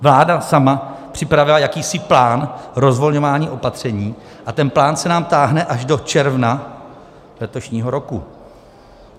Vláda sama připravila jakýsi plán rozvolňování opatření a ten plán se nám táhne až do června letošního roku.